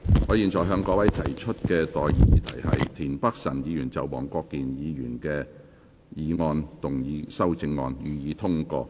我現在向各位提出的待議議題是：田北辰議員就黃國健議員議案動議的修正案，予以通過。